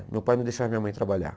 Meu pai não deixava minha mãe trabalhar.